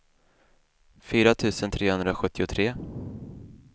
fyra tusen trehundrasjuttiotre